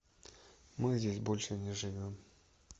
мы здесь больше не живем